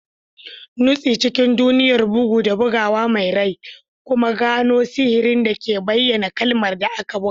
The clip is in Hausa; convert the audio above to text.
Nutse cikin duniyar bugu da buguwa mai rai, kuma gano sihirin da ke bayan kalmar da aka buga.